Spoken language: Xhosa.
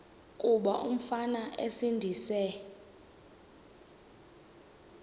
kuba umfana esindise